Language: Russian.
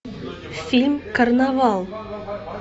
фильм карнавал